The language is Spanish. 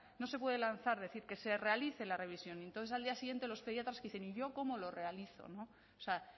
no se puede lanzar decir que se realice la revisión y entonces al día siguiente los pediatras dicen y yo cómo lo realizo no o sea